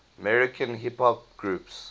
american hip hop groups